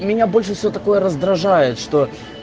и меня больше все такое раздражает что